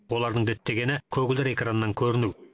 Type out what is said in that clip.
олардың діттегені көгілдір экраннан көріну